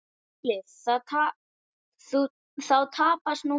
SKÚLI: Þá tapast nú fleira.